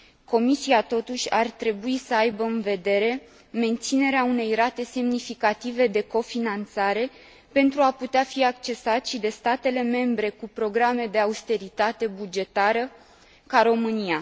Comisia, totuși, ar trebui să aibă în vedere menținerea unei rate semnificative de cofinanțare, pentru a putea fi accesat și de statele membre cu programe de austeritate bugetară, cum ar fi România.